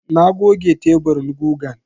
Na goge teburin gugan.